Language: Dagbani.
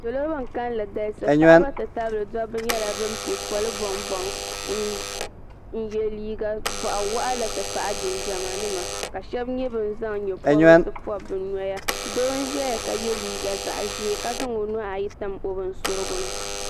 salo ban galisi nyɛla ban nyɛ bɛn pɛ ƒɔli n yɛ liga nima n ti pahi jinjam nima shɛbi nyɛla ban zan nyɛporisi n pobi nagbanpɔrigu do n ʒɛya ka yɛ liga zaɣ ʒiɛ ka zan o nuhi su o bɛn soritɛni